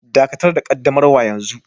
Dakatar da ƙaddamarwa yanzu